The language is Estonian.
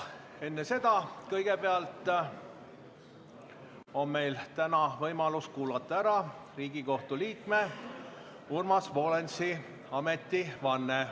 Kõigepealt on meil täna võimalus kuulata ära Riigikohtu liikme Urmas Volensi ametivanne.